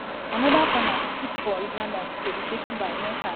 anoda corner kick for rwanda to be taken by muhire wey be dia star player.